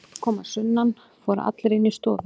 Eftir að pabbi kom að sunnan fóru allir inn í stofu.